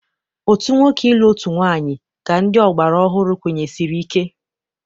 Otu nwoke ịlụ otu nwaanyị ka ndị ọgbara ọhụrụ kwenyesiri ike.